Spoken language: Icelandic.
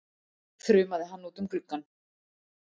þrumaði hann út um gluggann.